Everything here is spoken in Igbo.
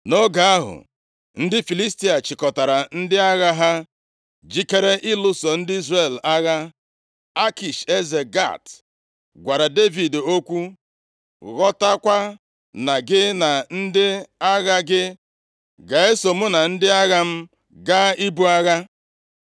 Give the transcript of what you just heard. Nʼoge ahụ, ndị Filistia chịkọtara ndị agha ha jikere ịlụso ndị Izrel agha. Akish eze Gat gwara Devid okwu, “Ghọtakwa na gị na ndị agha gị ga-eso mụ na ndị agha m gaa ibu agha.”